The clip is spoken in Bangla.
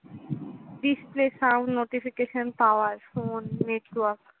display, sound, notification, power, phone, network